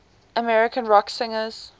american rock singers